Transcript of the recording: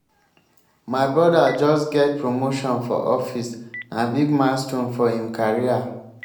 my broda just get promotion for office na big milestone for im career.